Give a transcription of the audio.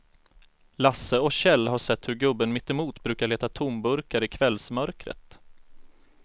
Lasse och Kjell har sett hur gubben mittemot brukar leta tomburkar i kvällsmörkret.